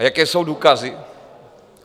A jaké jsou důkazy?